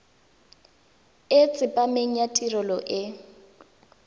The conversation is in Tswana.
e tsepameng ya tirelo e